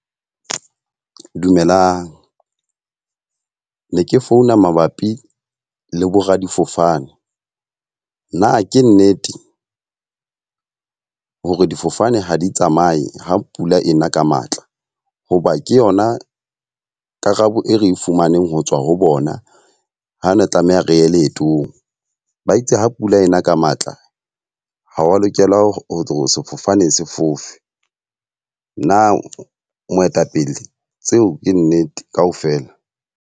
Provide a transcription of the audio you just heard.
Dumelang, ne ke founa mabapi le bo radifofane. Na ke nnete hore difofane ha di tsamaye ha pula e na ka matla? Hoba ke yona karabo e re e fumaneng ho tswa ho bona. Ha ne tlameha re ye leetong ba itse ha pula ena ka matla ha wa lokela ho sefofane se fofe. Na moetapele tseo ke nnete ka ofela?